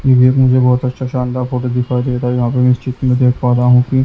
ये एक मुझे बहुत अच्छा शानदार फोटो दिखाई दे रहा है यहाँ पर मैं इस चित्र में देख पा रहा हूँ कि--